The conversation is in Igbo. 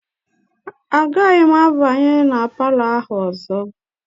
Agaghị m abanye na palọ ahụ ọzọ.